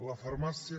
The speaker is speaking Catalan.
la farmàcia